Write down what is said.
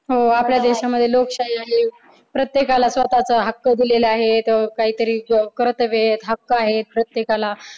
हो. आपल्या देशांमध्ये लोकशाही आहे. प्रत्येकाला स्वतःचा हक्क दिलेला आहे. काहीतरी कर्तव्य आहेत. हक्क आहेत प्रत्येकाला